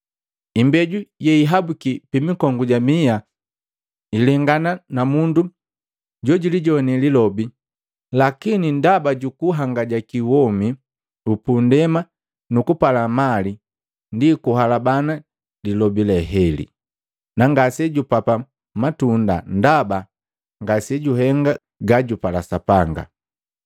Imbeju yehihabuki pi mikongu ja miha ilengana namundu jojulijoane lilobi, lakini ndaba juku hangajaki womi upundema nu kupala mali ndi kuhalabana lilobi leheli, na ngase jupapa matunda ndaba ngasejuhenga gajupala Sapanga.